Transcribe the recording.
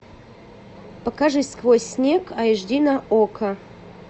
покажи сквозь снег аш ди на окко